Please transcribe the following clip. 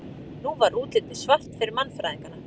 Nú var útlitið svart fyrir mannfræðingana.